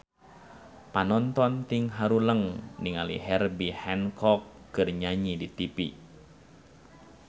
Panonton ting haruleng ningali Herbie Hancock keur nyanyi di tipi